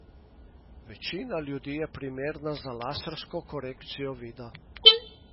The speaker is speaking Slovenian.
Večina ljudi je primerna za lasersko korekcijo vida.